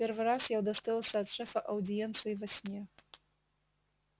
первый раз я удостоился от шефа аудиенции во сне